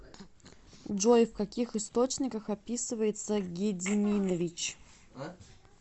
джой в каких источниках описывается гедиминович